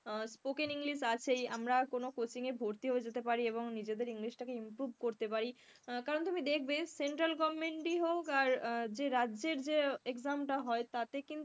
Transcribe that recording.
spoken english আছেই, আমরা কোন coaching এ ভর্তি হয়ে যেতে পারি এবং নিজেদের english টাকে improve করতে পারি কারণ তুমি দেখবে central government হোক আর রাজ্যের যে exam টা হয় তাতে কিন্তু,